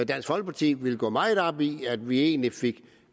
dansk folkeparti ville gå meget op i at vi egentlig fik